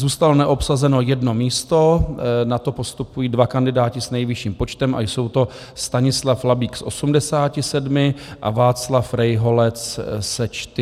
Zůstalo neobsazeno jedno místo, na to postupují dva kandidáti s nejvyšším počtem a jsou to Stanislav Labík s 87 a Václav Rejholec se 40 hlasy.